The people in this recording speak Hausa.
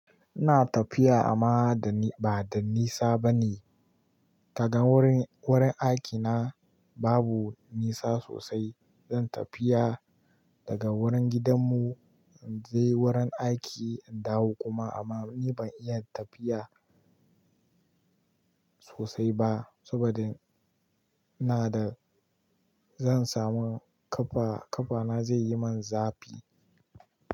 Ina tafiya amma ba da nisa ba ne. Kaga wurin, wurin aikina babu nisa sosai. Zan tafiya daga wurin gidan mu jai wurin aiki in dawo kuma amma ni ban iya tafiya sosai ba saboda ina da zan samu kafa, kafa na zai yi min zafi.